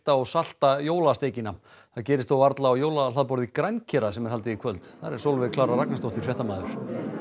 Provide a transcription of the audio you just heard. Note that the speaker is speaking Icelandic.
og salta jólasteikina það gerist þó varla á jólahlaðborði grænkera sem er haldið í kvöld þar er Sólveig Klara Ragnarsdóttir fréttamaður